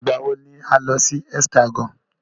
Ìgbà wọ ni à ń lọ sí Hexagon?